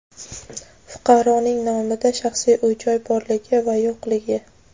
fuqaroning nomida shaxsiy uy-joy borligi yoki yo‘qligi;.